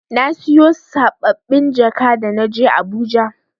Na siyo saɓɓabin jaka da na je Abuja.